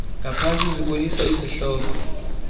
ngaphantsi zibonisa izihloko